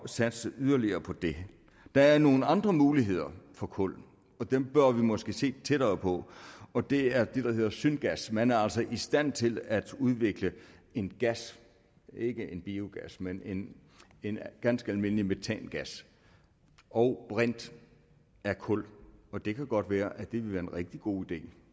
satse yderligere på det der er nogle andre muligheder for kul og dem bør vi måske se tættere på og det er det der hedder syngas man er altså i stand til at udvikle en gas ikke en biogas men en en ganske almindelig metangas og brint af kul og det kan godt være at det vil være en rigtig god idé